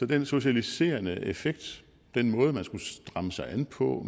den socialiserende effekt den måde man skulle stramme sig an på